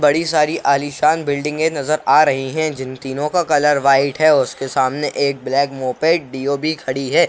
बड़ी सारी आलीशान बिल्डिंगें नजर आ रही हैं जिन तीनों का कलर वाइट है और उसके सामने एक ब्लैक मोपेड डीओ भी खड़ी है।